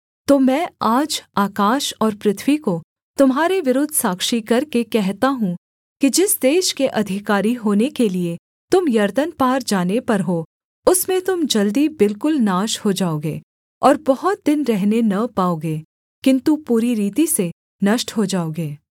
तो मैं आज आकाश और पृथ्वी को तुम्हारे विरुद्ध साक्षी करके कहता हूँ कि जिस देश के अधिकारी होने के लिये तुम यरदन पार जाने पर हो उसमें तुम जल्दी बिल्कुल नाश हो जाओगे और बहुत दिन रहने न पाओगे किन्तु पूरी रीति से नष्ट हो जाओगे